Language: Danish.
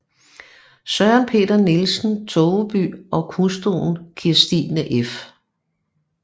Søren Peter Nielsen Togeby og hustruen Kirstine f